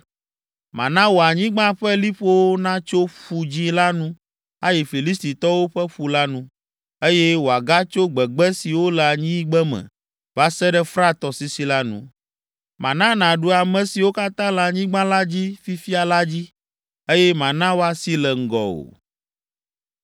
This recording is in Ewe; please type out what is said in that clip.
“Mana wò anyigba ƒe liƒowo natso Ƒu Dzĩ la nu ayi Filistitɔwo ƒe ƒu la nu, eye wòagatso gbegbe siwo le anyigbeme va se ɖe Frat tɔsisi la nu. Mana nàɖu ame siwo katã le anyigba la dzi fifia la dzi, eye mana woasi le ŋgɔwò.